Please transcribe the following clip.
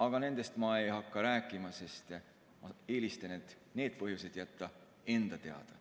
Aga nendest ei hakka ma rääkima, sest ma eelistan need põhjused jätta enda teada.